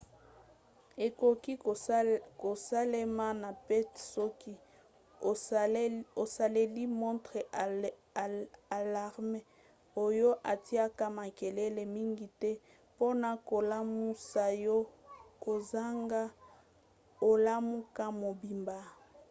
ekoki kosalema na pete soki osaleli montre alarme oyo etiaka makelele mingi te mpona kolamusa yo kozanga olamuka mobimba